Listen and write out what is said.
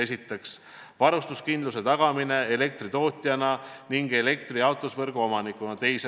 Esiteks, tagada elektritootjana ning elektrijaotusvõrgu omanikuna varustuskindlus.